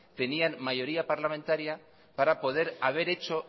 tenían mayoría parlamentaria para poder haber hecho